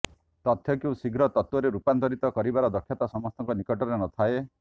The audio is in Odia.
ତଥ୍ୟକୁ ଶୀଘ୍ର ତତ୍ତ୍ୱରେ ରୂପାନ୍ତରିତ କରିବାର ଦକ୍ଷତା ସମସ୍ତଙ୍କ ନିକଟରେ ନଥାଏ